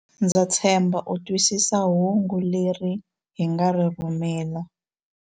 Ndza tshemba u twisisa hungu leri hi nga ri rhumela.